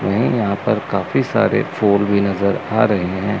हमें यहां पर काफी सारे फोर भी नजर आ रहे हैं।